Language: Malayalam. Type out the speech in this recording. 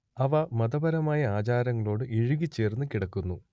അവ മതപരമായ ആചാരങ്ങളോട് ഇഴുകിച്ചേർന്നു കിടക്കുന്നു